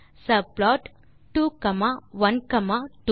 subplot 2 comma 1 comma 2